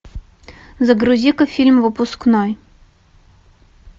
загрузи ка фильм выпускной